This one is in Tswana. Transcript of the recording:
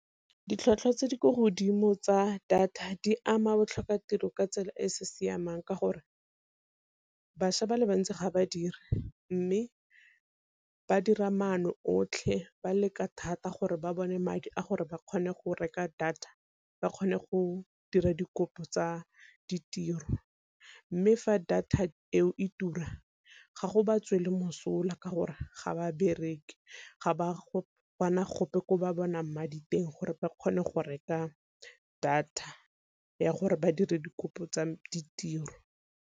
Ditlhwatlhwa tse di kwa godimo tsa data di ama botlhoka tiro ka tsela e e sa siamang ka gore bašwa ba le bantsi ga ba dire, mme ba dira maano otlhe ba leka thata gore ba bone madi a gore ba kgone go reka data ba kgone go dira dikopo tsa ditiro. Mme fa data eo e tura ga go ba tswela mosola ka gore ga ba bereke, ga ba bana gope ko ba bonang madi teng gore ba kgone go reka data ya gore ba dire dikopo tsa ditiro.